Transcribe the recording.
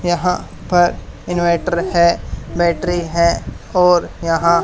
यहां पर इन्वेंटर हैं बैटरी है और यहां--